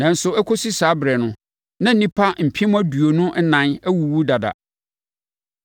nanso ɛkɔsi saa ɛberɛ no, na nnipa mpem aduonu ɛnan awuwu dada.